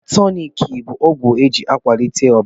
Blọd tọnik bụ ọgwụ eji a kwalite ọbara.